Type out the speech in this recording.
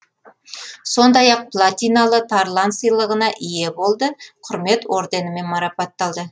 сондай ақ платиналы тарлан сыйлығына ие болды құрмет орденімен марапатталды